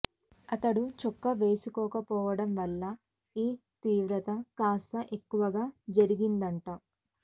అతడు చొక్కా వేసుకోకపోవడం వల్ల ఈ తీవ్రత కాస్త ఎక్కువగా జరిగిందట